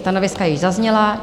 Stanoviska již zazněla.